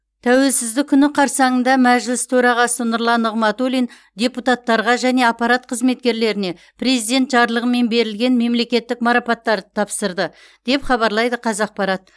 тәуелсіздік күні қарсаңында мәжіліс төрағасы нұрлан нығматулин депутаттарға және аппарат қызметкерлеріне президент жарлығымен берілген мемлекеттік марапаттарды тапсырды деп хабарлайды қазақпарат